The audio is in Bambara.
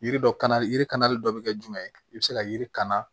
Yiri dɔ kana yiri kalali dɔ bɛ kɛ jumɛn ye i bɛ se ka yiri kan na